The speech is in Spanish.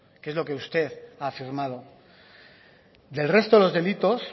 que es lo que usted ha afirmado del resto de los delitos